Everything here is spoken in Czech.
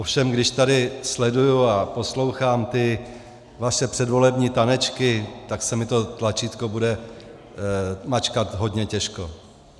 Ovšem když tady sleduji a poslouchám ty vaše předvolební tanečky, tak se mi to tlačítko bude mačkat hodně těžko.